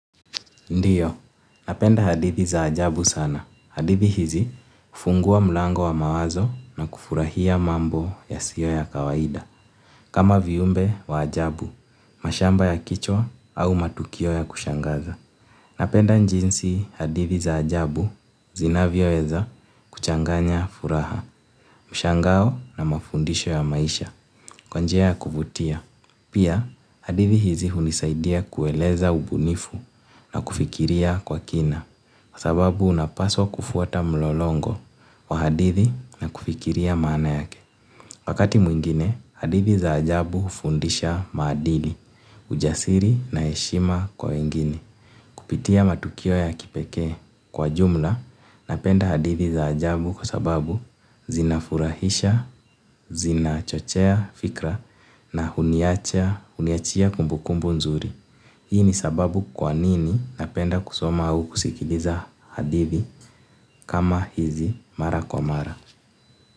Ndio, napenda hadithi za ajabu sana. Hadithi hizi hufungua mlango wa mawazo na kufurahia mambo yasiyo ya kawaida. Kama viumbe wa ajabu, mashamba ya kichwa au matukio ya kushangaza. Napenda jinsi hadithi za ajabu, zinavyoweza kuchanganya furaha, mshangao na mafundisho ya maisha kwa njia ya kuvutia. Pia, hadithi hizi hunisaidia kueleza ubunifu na kufikiria kwa kina, kwa sababu unapaswa kufuata mlolongo wa hadithi na kufikiria maana yake. Wakati mwingine, hadithi za ajabu hufundisha maadili, ujasiri na heshima kwa wengine. Kupitia matukio ya kipekee. Kwa jumla, napenda hadithi za ajabu kwa sababu zinafurahisha, zinachochea fikra na huniachia kumbukumbu nzuri. Hii ni sababu kwa nini napenda kusoma au kusikiliza hadithi kama hizi mara kwa mara.